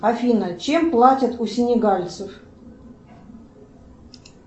афина чем платят у синегальцев